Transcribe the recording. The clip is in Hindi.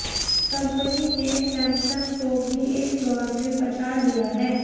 कंपनी ने सैमसंग को भी इस दौड़ में पछाड़ दिया है